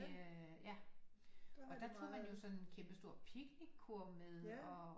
Ja og der tog man jo sådan en kæmpestor picnickurv med og